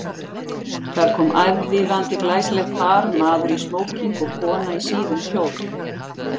Þar kom aðvífandi glæsilegt par, maður í smóking og kona í síðum kjól.